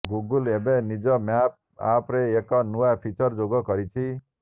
Google ଏବେ ନିଜ map ଆପ୍ରେ ଏକ ନୂଆ ଫିଚର ଯୋଗ କରିଛି